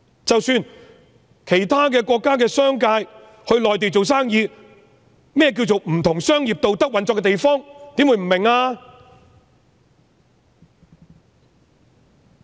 即使是其他國家的商人到內地經商，對於何謂"不同商業道德運作的地方"，怎會不明白？